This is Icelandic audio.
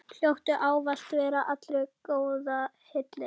Hljóttu ávallt allra góða hylli.